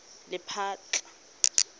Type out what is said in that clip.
lephatla